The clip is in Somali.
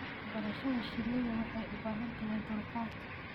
Barashada shinida waxay u baahantahay dulqaad.